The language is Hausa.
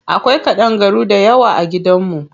Akwai ƙadangaru dayawa a gidan mu.